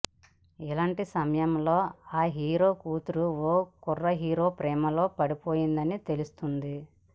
ఇలాంటి సమయంలో ఆ హీరో కూతురు ఓ కుర్ర హీరో ప్రేమలో పడిపోయిందని తెలుస్తుంది